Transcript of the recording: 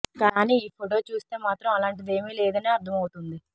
కానీ ఈ ఫోటో చూస్తే మాత్రం అలాంటిదేమీ లేదని అర్థం అవుతోంది